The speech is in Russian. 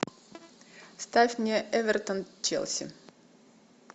ставь мне эвертон челси